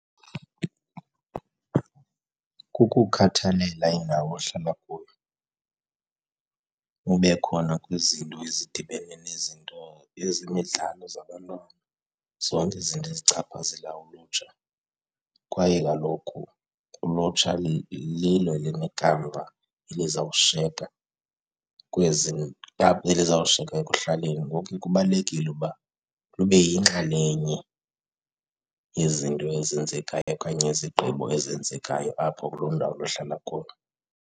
Kukukhathalela indawo ohlala kuyo, ube khona kwizinto ezidibene nezinto ezemidlalo zabantwana, zonke izinto ezichaphazela ulutsha. Kwaye kaloku ulutsha lilo elinekamva elizawushiyeka kwezi elizawushiyeka ekuhlaleni, ngoko ke kubalulekile uba lube yinxalenye yezinto ezenzekayo okanye izigqibo ezenzekayo apho kuloo ndawo luhlala kuyo.